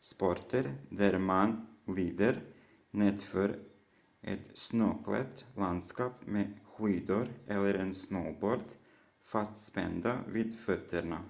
sporter där man glider nedför ett snöklätt landskap med skidor eller en snowboard fastspända vid fötterna